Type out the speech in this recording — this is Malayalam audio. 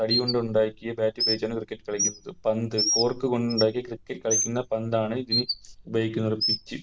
തടികൊണ്ടുണ്ടാക്കി Bat ഉപയോഗിച്ചാണ് Cricket കളിക്കുന്നത് പന്ത് Cork കൊണ്ടുണ്ടാക്കി Cricket കളിക്കുന്ന പന്താണ് ഇതിന് ഉപയോഗിക്കുന്നത് Pitch